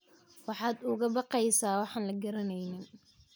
Maxaad uga baqaysaa waxaan la garanayn?